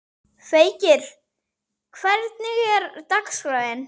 Feykir, hvernig er dagskráin?